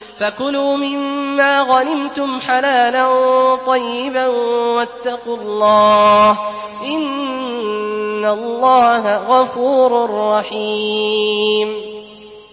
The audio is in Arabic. فَكُلُوا مِمَّا غَنِمْتُمْ حَلَالًا طَيِّبًا ۚ وَاتَّقُوا اللَّهَ ۚ إِنَّ اللَّهَ غَفُورٌ رَّحِيمٌ